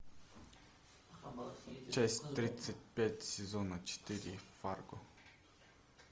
часть тридцать пять сезона четыре фарго